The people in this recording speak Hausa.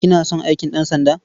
Kina son aikin ɗansanda?